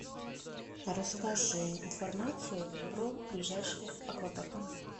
расскажи информацию про ближайший аквапарк